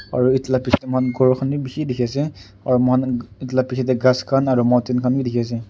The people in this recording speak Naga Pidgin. aro etu la biji dae mo kan kor kan bi bishi tiki ase aro mo kan etu la biji dae kas kan aro mountain kan bi tiki ase.